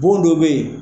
Bon dɔ bɛ yen